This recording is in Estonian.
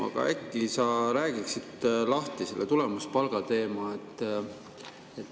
Aga äkki sa räägiksid lahti selle tulemuspalga teema?